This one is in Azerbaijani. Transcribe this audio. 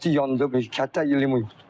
Pəh, təki yandı, heç kənddə limon yoxdur.